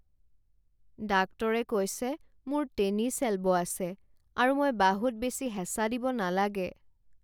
ডাক্তৰে কৈছে মোৰ টেনিছ এলব' আছে আৰু মই বাহুত বেছি হেঁচা দিব নালাগে।